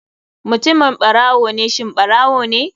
Mutumin barawo ne shin shi ɓarawone??